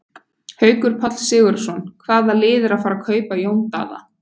Haukur Páll Sigurðsson Hvaða lið er að fara að kaupa Jón Daða?